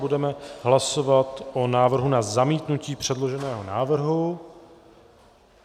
Budeme hlasovat o návrhu na zamítnutí předloženého návrhu.